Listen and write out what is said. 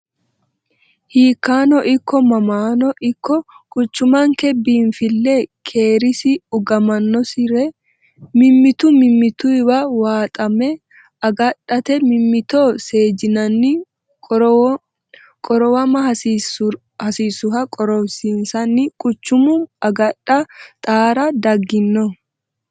Hiikkano ikko mamano ikko quchumanke biinfile keeresi, uganosire mimmitu mimmituwa waaxame agadhate mimmitto seejinanni qorowama hasiisuha qorowinsanni quchuma agadha xaara dagino.